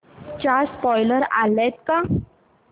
चा स्पोईलर आलाय का